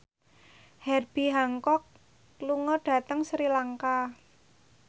Herbie Hancock lunga dhateng Sri Lanka